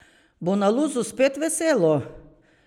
Bo na Luzu spet veselo?